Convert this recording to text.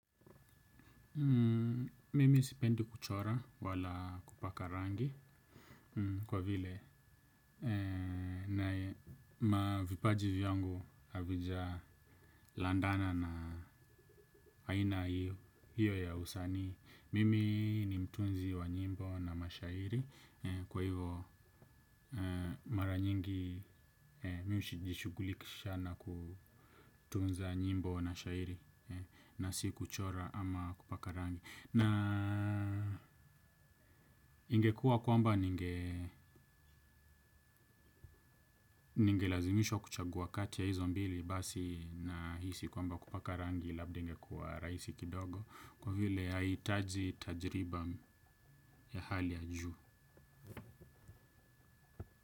Mimi sipendi kuchora wala kupaka rangi kwa vile na mavipaji vyangu havija landana na aina hiyo ya usanii. Mimi ni mtunzi wa nyimbo na mashairi kwa hivo mara nyingi mimi hujishughulikisha na kutunza nyimbo na mashairi na si kuchora ama kupaka rangi. Ningekua kwamba ninge ningelazimishwa kuchagua kati ya hizo mbili basi nahisi kwamba kupaka rangi labda ingekua rahisi kidogo kwa vile haihitaji tajriba ya hali ya juu.